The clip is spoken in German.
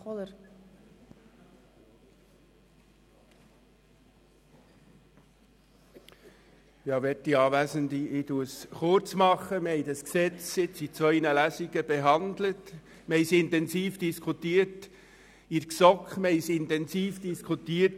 Wir haben dieses Gesetz während zwei Lesungen behandelt und es sowohl in der GSoK als auch im Grossen Rat intensiv diskutiert.